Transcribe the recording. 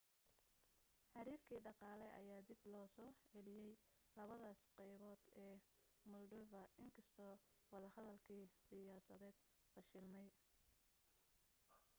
xiriirkii dhaqaale ayaa dib loo soo celiyay labadaas qaybood ee moldova inkastoo wadahadlkii siyaasadeed fashilmay